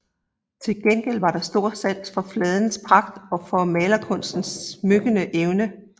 Til gengæld var der stor sans for fladens pragt og for malerkunstens smykkende evne